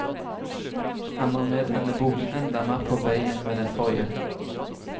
Han er med denne boken enda mer på vei enn med den forrige.